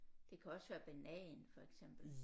Det kan også være banan for eksempel